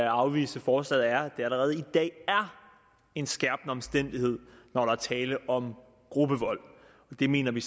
afvise forslaget er det allerede i dag er en skærpende omstændighed når der er tale om gruppevold og det mener vi